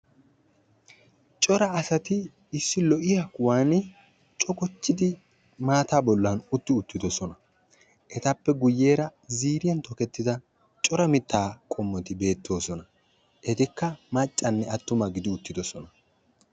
Cora asati issi lo"iyaa kuwaan cogochchidi issi maata bollan utti uttidoosona ; etappe guyyeera ziiriyaan tokketida cora mitta qommoti beettoosona; etikka maccanne attuma gidi uttidoosona.